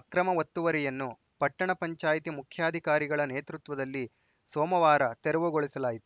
ಅಕ್ರಮ ಒತ್ತುವರಿಯನ್ನು ಪಟ್ಟಣ ಪಂಚಾಯ್ತಿ ಮುಖ್ಯಾಧಿಕಾರಿಗಳ ನೇತೃತ್ವದಲ್ಲಿ ಸೋಮವಾರ ತೆರವುಗೊಳಿಸಲಾಯಿತು